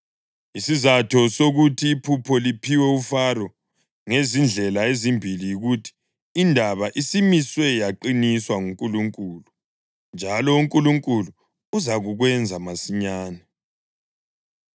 Isizatho sokuthi iphupho liphiwe uFaro ngezindlela ezimbili yikuthi, indaba isimiswe yaqiniswa nguNkulunkulu, njalo uNkulunkulu uzakukwenza masinyane.